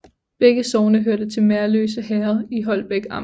Begge sogne hørte til Merløse Herred i Holbæk Amt